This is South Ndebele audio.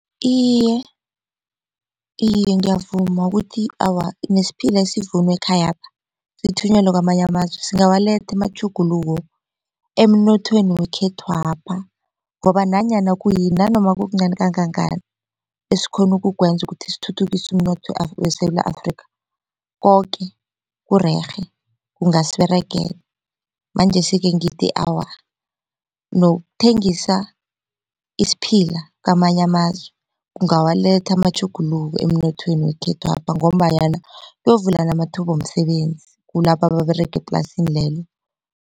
Iye, iye ngiyavuma ukuthi awa nesiphila esivunwa ekhayapha sithunyelwe kwamanye amazwe singawaletha amatjhuguluko emnothweni wekhethwapha ngoba nanyana kuyini nanoma kukuncani kangangani esikghona ukukwenza ukuthi sithuthukise umnotho weSewula Afrika koke kurerhe kungasiberegela, manjesi-ke ngithi awa nokuthengisa isiphila kwamanye amazwe kungawuletha amatjhuguluko emnothweni wekhethwapha ngombanyana kuyokuvuleka amathuba womsebenzi kulabo ababerega eplasini lelo.